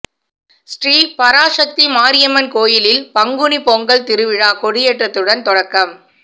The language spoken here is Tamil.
ஸ்ரீ பராசக்தி மாரியம்மன் கோயிலில் பங்குனி பொங்கல் திருவிழா கொடியேற்றத்துடன் தொடக்கம்